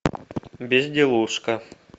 безделушка